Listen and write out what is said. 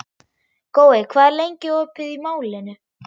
Gói, hvað er lengi opið í Málinu?